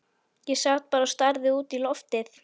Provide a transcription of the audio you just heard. Ég sat bara og starði út í loftið.